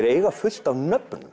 eiga fullt af nöfnum